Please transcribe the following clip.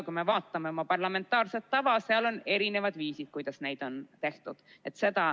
Kui me vaatame oma parlamentaarset tava, siis seal on erinevad viisid, kuidas neid on tehtud.